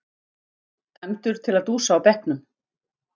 Dæmdur til að dúsa á bekknum!